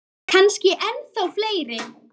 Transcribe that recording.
Kannski ennþá fleiri.